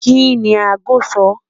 Kini àágò sọ?